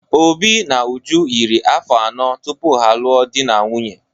Obi na Uju yiri afọ anọ tupu ha a lụọ di na nwunye.